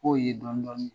K'o ye dɔni dɔni